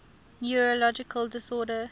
neurological disorders